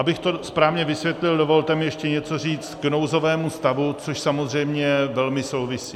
Abych to správně vysvětlil, dovolte mi ještě něco říct k nouzovému stavu, což samozřejmě velmi souvisí.